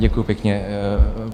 Děkuji pěkně.